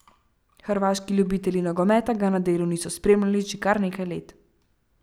Hrvaški ljubitelji nogometa ga na delu niso spremljali že kar nekaj let.